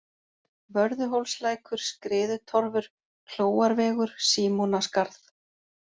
Vörðuhólslækur, Skriðutorfur, Klóarvegur, Símonaskarð